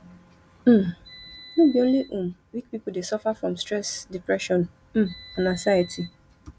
um no bi only um weak pipu dey suffer from stress depression um and anxiety